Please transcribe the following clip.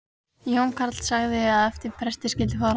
Jón karl sagði að eftir presti skyldi fara.